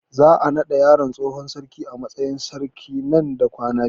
Za a naɗa yaron tsohon sarki a matsayin sarki nan da kwana biyu